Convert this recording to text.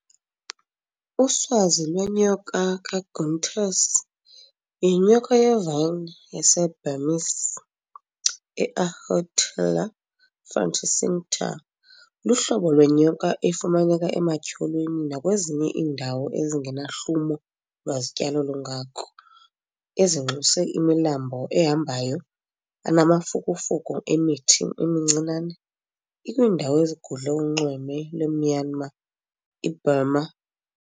Uswazi lwenyoka kaGünther's, yinyoka yevine yase-Burmese, i-Ahaetulla fronticincta, luhlobo lwenyoka efumaneka ematyholweni nakwezinye iindawo ezingenahlumo lwazityalo lungako, ezinxuse imilambo ehambayo anamafukufuku emithi emincinane ikwiindawo ezigudle unxweme lwe-Myanmar, i-Burma.